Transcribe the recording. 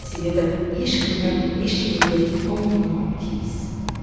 себебі ешкім де ештеңе де ұмытылмауы тиіс